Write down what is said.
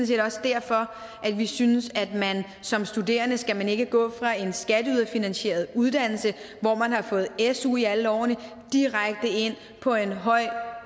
set også derfor vi synes at man som studerende ikke skal gå fra en skatteyderfinansieret uddannelse hvor man har fået su i alle årene direkte ind på en høj